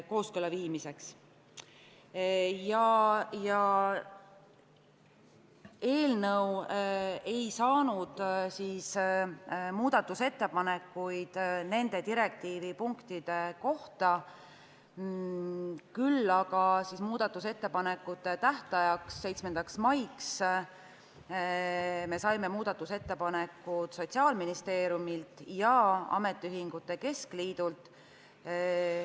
Meile ei laekunud muudatusettepanekuid nende direktiivipunktide kohta, küll aga saime muudatusettepanekute tähtajaks, 7. maiks ettepanekud Sotsiaalministeeriumilt ja ametiühingute keskliidult.